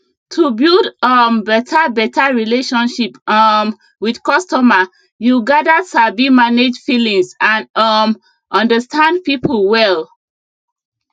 to build um beta beta relationship um with costumer you gather sabi manage feelings and um understand people well